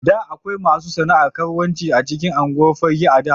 Da akwai masu sana'ar karuwanci a cikin unguwar Fagge a da.